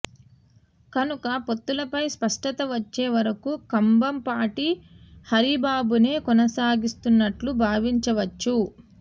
కనుక పొత్తులపై స్పష్టత వచ్చే వరకు కంబంపాటి హరిబాబునే కొనసాగిస్తున్నట్లు భావించవచ్చు